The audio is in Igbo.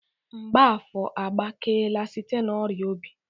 Mgbafor agbakeela site n'ọrịa obi.